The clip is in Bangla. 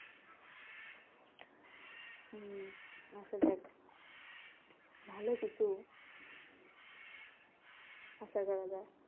হম আসা যাক ভালো কিছু আশা করা যাক